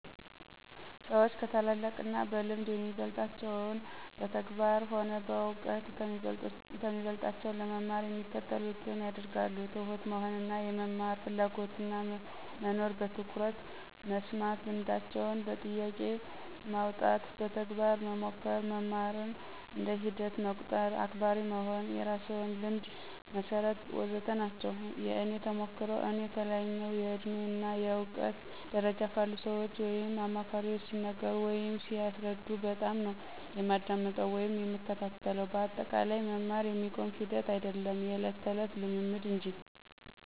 ሰዎች ከታላላቅ እና በልምድ የሚበልጣቸውን በተግባር ሆነ በእውቀት ከሚበልጦቸው ለመማር የሚከተሉትን ያደርጋሉ፦ ትሁት መሆን እና የመማር ፍላጎትና መኖር፣ በትኩረት መስማት፣ ልምዳቸውን በጥያቄ ማውጣት፣ በተግባር መሞከር፣ መማርን እንደ ሂደት መቁጠር፣ አክባሪ መሆን፣ የራስዎን ልምድ መሠርት... ወዘተ ናቸው። የእኔ ተሞክሮ፦ እኔ ከላይኛው የእድሜ እና እውቀት ደረጃ ካሉ ሰዎች ወይም አማካሪዎች ሲነገሩ ወይም ሲያስረዱ በጣምነው የማዳምጠው ወይም የምከታተለው በአጠቃላይ መማር የሚቆም ሂደት አይዶለም የዕለት ተዕለት ልምምድ እንጂ።